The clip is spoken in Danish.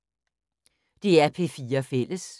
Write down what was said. DR P4 Fælles